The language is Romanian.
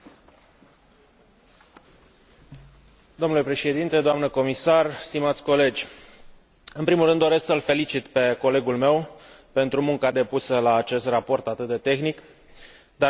În primul rând doresc să îl felicit pe colegul meu pentru munca depusă la acest raport atât de tehnic, dar cu reale implicații pentru siguranța cetățenilor europeni.